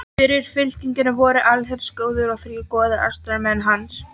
Fyrir fylkingunni fóru allsherjargoðinn og þrír goðar, aðstoðarmenn hans